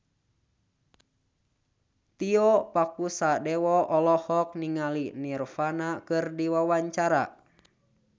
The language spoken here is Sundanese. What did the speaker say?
Tio Pakusadewo olohok ningali Nirvana keur diwawancara